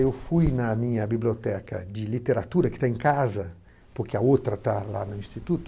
Eu fui na minha biblioteca de literatura, que está em casa, porque a outra está lá no Instituto,